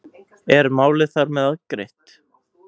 Er málið þar með afgreitt?